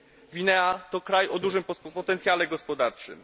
Gwinea to kraj o dużym potencjale gospodarczym.